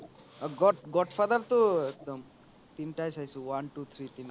অ god god father তো একদম তিনটায়ে চাইছো one two three